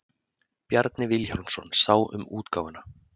Bjarni Vilhjálmsson sá um útgáfuna.